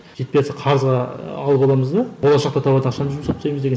жетпейатса қарызға алып аламыз да болашақта табатын ақшаны жұмсап тастаймыз деген